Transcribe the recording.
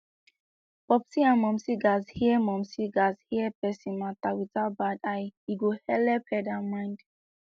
popsi and momsi gatz hear momsi gatz hear persin matter without bad eye e go helep head and mind